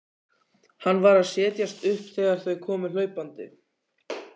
Hann var að setjast upp þegar þau komu hlaupandi.